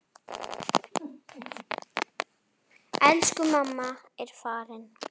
Elsku mamma er farin.